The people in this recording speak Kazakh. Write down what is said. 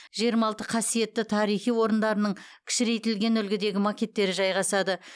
жиырма алты қасиетті тарихи орындарының кішірейтілген үлгідегі макеттері жайғасады